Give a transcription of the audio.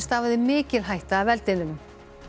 stafaði mikil hætta af eldinum